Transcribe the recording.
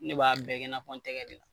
Ne b'a bɛɛ kɛ i n'a fɔ n tɛgɛ de